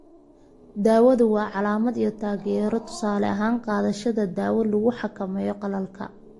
Daawadu waa calaamad iyo taageero; tusaale ahaan, qaadashada daawo lagu xakameeyo qalalka.